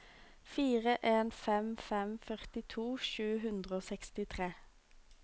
fire en fem fem førtito sju hundre og sekstitre